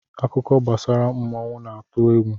Akụkọ gbasara mmụọ na-atụ egwu.